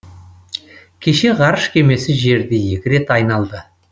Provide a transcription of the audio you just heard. кеше ғарыш кемесі жерді екі рет айналды